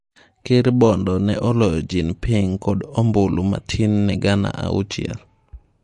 Ker Bongo ne oloyo Jean Ping kod ombulu matin ne gana auchiel.